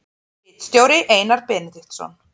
Ritstjóri Einar Benediktsson.